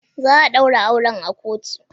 Za a daura auren a kotu.